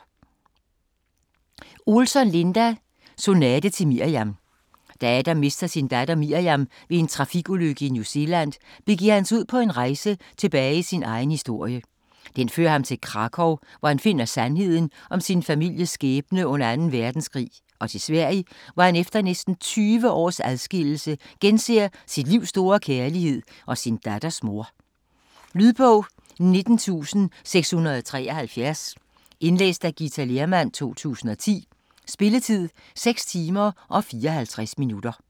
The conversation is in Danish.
Olsson, Linda: Sonate til Miriam Da Adam mister sin datter Miriam ved en trafikulykke i New Zealand, begiver han sig ud på en rejse tilbage i sin egen historie. Den fører ham til Krakow, hvor han finder sandheden om sin families skæbne under 2. verdenskrig, og til Sverige, hvor han efter næsten 20 års adskillelse genser sit livs store kærlighed og sin datters mor. Lydbog 19673 Indlæst af Githa Lehrmann, 2010. Spilletid: 6 timer, 54 minutter.